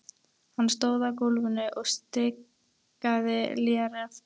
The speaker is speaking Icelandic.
Hann stóð á gólfinu og stikaði léreft.